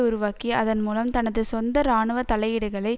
உருவாக்கி அதன்மூலம் தனது சொந்த இராணுவ தலையீடுகளை